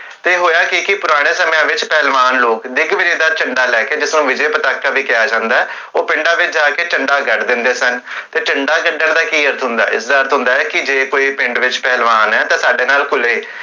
ਤੇ ਹੋਇਆ ਕੀ ਕੀ, ਪੁਰਾਣੇ ਸਮੇ ਵਿਚ ਪਹਲਵਾਨ ਲੋਗ, ਦਿਗ ਵਿਜੇ ਚ੍ਨੱਡਾ ਲੈ ਕੇ, ਜਿਸਨੂ ਵਿਜੇ ਪਟਾਕਾ ਵੀ ਕੇਹਾ ਜਾਂਦੇ, ਓਹ ਪਿੰਡਾ ਵਿਚ ਜਾ ਕੇ ਚੰਡਾ ਗੜ੍ਹ ਦਿੰਦੇ ਸਨ, ਤੇ ਚੰਡਾ ਗੜ੍ਹਨ ਦਾ ਕੀ ਅਰਥ ਹੁੰਦਾ ਹੈ? ਇਸ ਦਾ ਅਰਥ ਹੁੰਦਾ ਹਸੀ ਕੀ ਜੇ ਕੋਈ ਪਿੰਡ ਵਿਚ ਪਹਲਵਾਨ ਹੈ ਤਾਂ ਸਾਡੇ ਨਾਲ ਖੁਲੇ